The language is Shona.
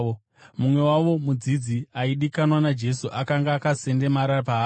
Mumwe wavo, mudzidzi aidikanwa naJesu, akanga akasendamira paari.